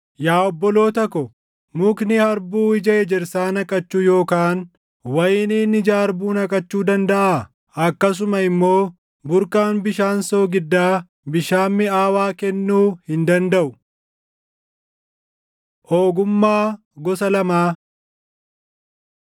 Yaa obboloota ko, mukni harbuu ija ejersaa naqachuu yookaan wayiniin ija harbuu naqachuu dandaʼaa? Akkasuma immoo burqaan bishaan soogiddaa bishaan miʼaawaa kennuu hin dandaʼu. Ogummaa Gosa Lamaa